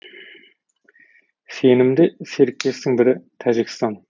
сенімді серіктестің бірі тәжікстан